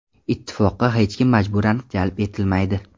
Ittifoqqa hech kim majburan jalb etilmaydi.